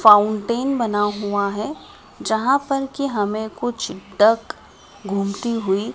Fountain बना हुआ है जहां पर की हमे कुछ डक घूमती हुई।